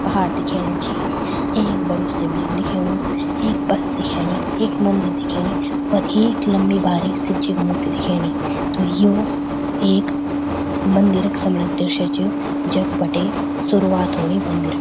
पहाड़ दिखेणा छी एक बडू सिबलिंग दिखेणु एक बस दिखेणी एक मंदिर दिखेणी और एक लम्बी भारी शिवजी की मूर्ति दिखेणी त यु एक मंदिर क समणाक् दृश्य च जख बटे सुरुवात हुणी मंदिर क।